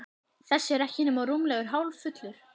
Þessi er ekki nema rúmlega hálffullur.